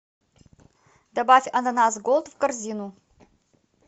добавь ананас голд в корзину